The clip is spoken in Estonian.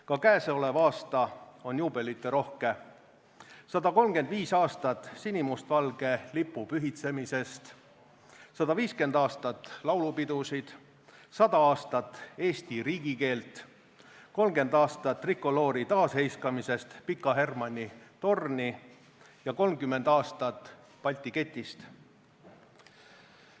Ka käesolev aasta on juubeliterohke: 135 aastat sinimustvalge lipu pühitsemisest, 150 aastat laulupidusid, 100 aastat eesti riigikeelt, 30 aastat trikoloori taasheiskamisest Pika Hermanni torni ja 30 aastat Balti ketist.